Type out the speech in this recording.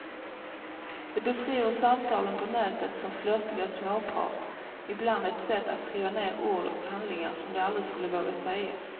De beskriver samtalen på nätet som flörtigt småprat, ibland ett sätt att skriva ner ord och handlingar som de aldrig skulle våga säga.